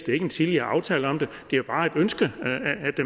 ingen tidligere aftaler om det det er bare et ønske